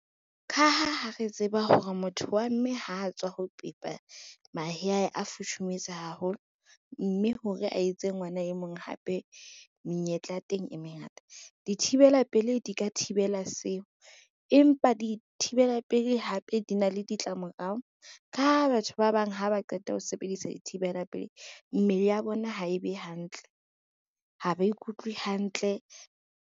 Ka ha ha re tseba hore motho wa mme ho tswa ho pepa mahe aye a futhumetse haholo, mme hore a etse ngwana e mong hape menyetla ya teng e mengata. Dithibela pelei di ka thibela seo, empa dithibela pelei hape di na le ditlamorao ka ha batho ba bang ha ba qeta ho sebedisa dithibela pelei mmele ya bona ha e be hantle, ha ba ikutlwe hantle.